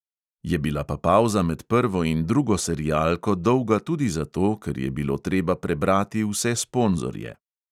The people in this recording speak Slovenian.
Je bila pa pavza med prvo in drugo serialko dolga tudi zato, ker je bilo treba prebrati vse sponzorje.